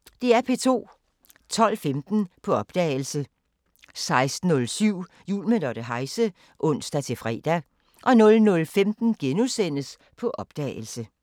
12:15: På opdagelse 16:07: Jul med Lotte Heise (ons-fre) 00:15: På opdagelse *